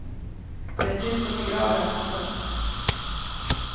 Det är tyst som i graven. punkt